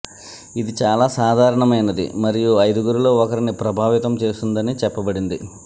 ఇది చాలా సాధారణమైనది మరియు ఐదుగురిలో ఒకరిని ప్రభావితం చేస్తుందని చెప్పబడింది